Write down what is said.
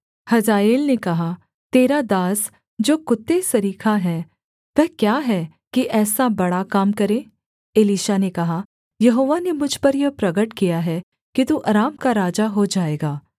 हजाएल ने कहा तेरा दास जो कुत्ते सरीखा है वह क्या है कि ऐसा बड़ा काम करे एलीशा ने कहा यहोवा ने मुझ पर यह प्रगट किया है कि तू अराम का राजा हो जाएगा